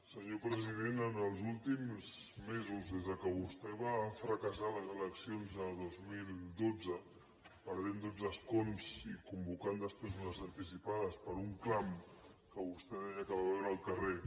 senyor president en els últims mesos des que vostè va fracassar a les eleccions de dos mil dotze perdent dotze escons i convocant després unes anticipades per un clam que vostè deia que va veure al carrer